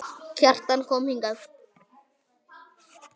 Kjartan kom hingað.